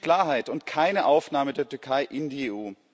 Sie wünscht Klarheit und keine Aufnahme der Türkei in die EU.